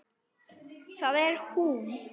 Það er hún.